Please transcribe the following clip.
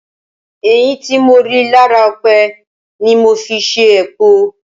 Ẹ̀yìn tí mo rí lára ọ̀pẹ ni mo fi ṣe epo.